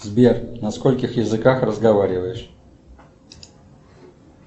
сбер на скольких языках разговариваешь